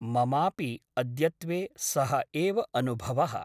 ममापि अद्यत्वे सः एव अनुभवः ।